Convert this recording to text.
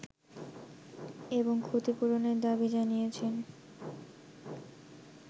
এবং ক্ষতিপূরণের দাবি জানিয়েছেন